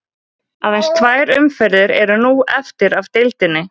Aðeins tvær umferðir eru nú eftir af deildinni.